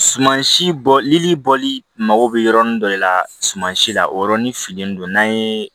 Suman si bɔli bɔli mago bɛ yɔrɔnin dɔ de la sumansi la o yɔrɔnin fililen don n'a ye